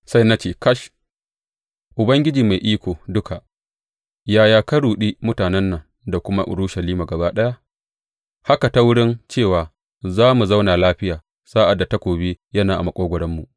Sai na ce, Kash, Ubangiji Mai Iko Duka, yaya ka ruɗi mutanen nan da kuma Urushalima gaba ɗaya haka ta wurin cewa, Za ku zauna lafiya,’ sa’ad da takobi yana a maƙogwaronmu.